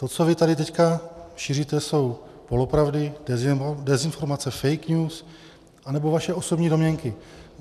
To, co vy tady teďka šíříte, jsou polopravdy, dezinformace, fake news nebo vaše osobní domněnky.